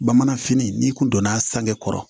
Bamananfini n'i kun donna a sange kɔrɔ